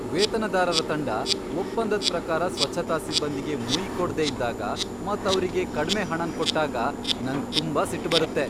ವೇತನದಾರರ ತಂಡ ಒಪ್ಪಂದದ್ ಪ್ರಕಾರ ಸ್ವಚ್ಛತಾ ಸಿಬ್ಬಂದಿಗೆ ಮುಯ್ಯಿ ಕೊಡ್ದೆ ಇದ್ದಾಗ ಮತ್ ಅವ್ರಿಗೆ ಕಡ್ಮೆ ಹಣನ್ ಕೊಟ್ಟಾಗ ನಂಗ್ ತುಂಬಾ ಸಿಟ್ ಬರುತ್ತೆ.